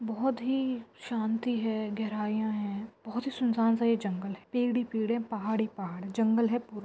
बहुत ही शांति है गहरईयां है बहुत ही सुनसान सा ये जंगल है पेड़ ही पेड़ है पहाड़ ही पहाड़ हैजंगल है पूरा।